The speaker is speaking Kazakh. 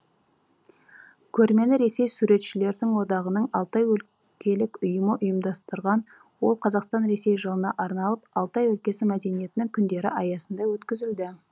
көрмені ресей суретшілердің одағының алтай өлкелік ұйымы ұйымдастырған ол қазақстандағы ресей жылына арналып алтай өлкесі мәдениетінің күндері аясында өткізілді